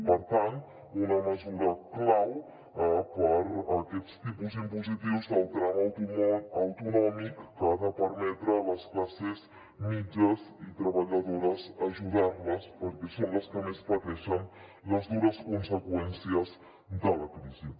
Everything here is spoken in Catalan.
per tant una mesura clau per a aquests tipus impositius del tram autonòmic que ha de permetre a les classes mitjanes i treballadores ajudar les perquè són les que més pateixen les dures conseqüències de la crisi